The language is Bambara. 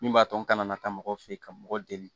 Min b'a to n kana taa mɔgɔ fe yen ka mɔgɔ deli